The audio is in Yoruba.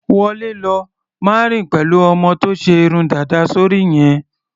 Wọlé lọ! Má rìn pẹ̀lú ọmọ tó ṣe irun dàda sóri yẹn.